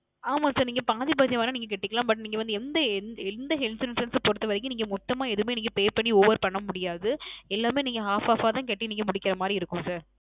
ஆமாம் Sir நீங்க பாதி பாதியா வேண நீங்க கட்டலாம் But நீங்க எந்த எந்த Health insurance பொருத்த வரைக்கும் நீங்க மொத்தமாக எதுவுமே Pay பண்ணி Over பண்ண முடியாது எல்லாமே நீங்க Off Off ஆ தான் கட்டி முடிக்கிற மாரி இருக்கும் Sir